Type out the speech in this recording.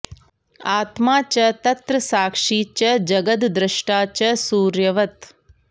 आत्मा च तत्र साक्षी च जगद्द्रष्टा च सूर्यवत्